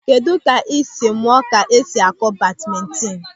Kedụ ka ị sịrị mụọ ka esi akụ badmintin?